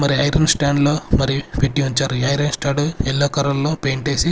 మరి iron stand లో మరి పెట్టు ఉంచారు ఈ ఐరన్ స్టాండ్ ఎల్లో కలర్ లో పెయింట్ వేసి.